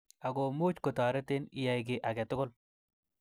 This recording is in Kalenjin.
Akomuch kotoretin iyai ki age tugul.